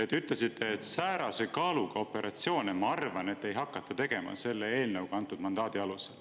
Te ütlesite: "Säärase kaalukusega operatsiooni, ma arvan, ei hakata mitte kunagi tegema " selle eelnõuga antud mandaadi alusel.